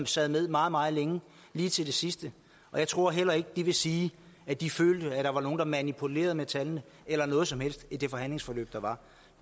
sad med meget meget længe lige til det sidste jeg tror heller ikke de vil sige at de følte at der var nogen der manipulerede med tallene eller noget som helst i det forhandlingsforløb der var